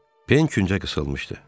Pen küncə qısılmışdı.